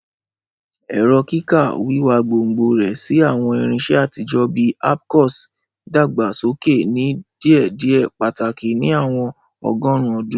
Ẹrọ kika, wiwa gbongbo rẹ si awọn irinṣẹ atijọ bi abcùs, dagbasoke ni diėdiė pataki ni awọn ọgọrun ọdun.